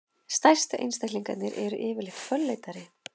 stærstu einstaklingarnir eru yfirleitt fölleitari